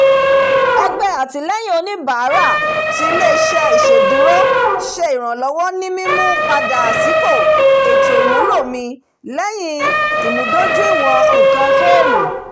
ẹgbẹ́ àtìlẹ́yìn oníbàárà ti ilé-iṣẹ́ iṣèdúró ṣe ìrànlọ́wọ́ ní mímú-padà sípò ètò ìmúlò mi lẹ́yìn ìmúdójúìwọ̀n nǹkan fónù